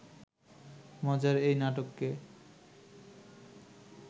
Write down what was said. মজার এই নাটকে